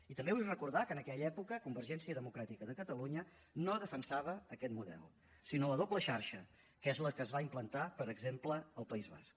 i també vull recordar que en aquella època convergència democràtica de catalunya no defensava aquest model sinó la doble xarxa que és la que es va implantar per exemple al país basc